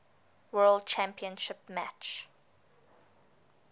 world championship match